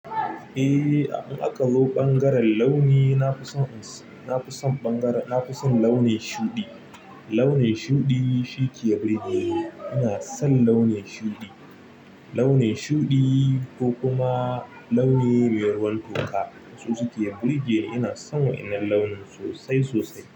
Eh, in aka zo bangaren launi, na fi son, na fi son bangaren, na fi son launin shuɗi. Launin shuɗi shi ke burge ni. Ina son launi shuɗi. Launi shuɗi ko kuma launi mai ruwan toka su suke burge ni. Ina son wa'inan launi sosai sosai.